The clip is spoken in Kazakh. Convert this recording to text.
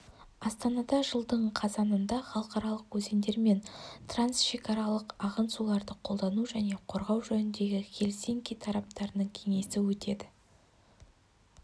астанада жылдың қазанында халықаралық өзендер мен трансшекаралық ағын суларды қолдану және қорғау жөніндегі хелсинки тараптарының кеңесі өтеді